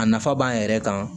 A nafa b'an yɛrɛ kan